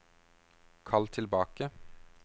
kall tilbake